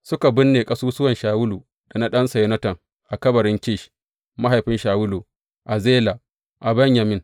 Suka binne ƙasusuwan Shawulu da na ɗansa Yonatan a kabarin Kish, mahaifin Shawulu, a Zela a Benyamin.